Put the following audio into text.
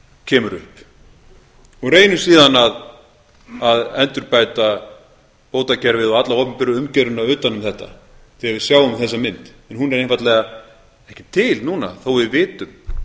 kemur upp og reynum síðan að endurbæta bótakerfið og alla opinberu umgjörðina utan um þetta þegar við sjáum þessa mynd hún er einfaldlega ekki til núna þó að við vitum